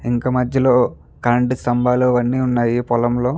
ఇంకా మధ్యలో కరెంట్ సంబల్లు అవి అన్ని ఉన్నాయి పొలంలో.